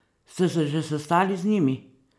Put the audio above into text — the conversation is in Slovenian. Ste se že sestali z njimi?